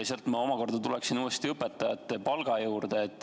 Sealt ma omakorda tuleksin uuesti õpetajate palga juurde.